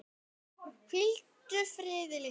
Hvíldu friði, litli bróðir.